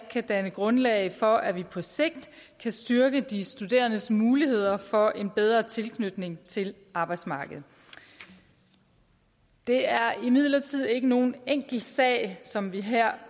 kan danne grundlag for at vi på sigt kan styrke de studerendes muligheder for en bedre tilknytning til arbejdsmarkedet det er imidlertid ikke nogen enkel sag som vi her